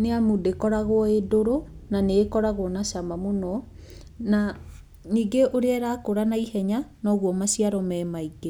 nĩ amu ndĩkoragwo ĩndũrũ na nĩkoragwo na cama mũno, na ningĩ ũrĩa ĩrakũra na ihenya noguo maciaro me maingĩ.